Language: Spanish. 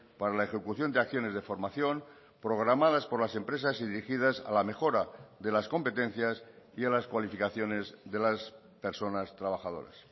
para la ejecución de acciones de formación programadas por las empresas y dirigidas a la mejora de las competencias y a las cualificaciones de las personas trabajadoras